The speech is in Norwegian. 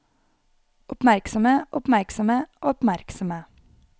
oppmerksomme oppmerksomme oppmerksomme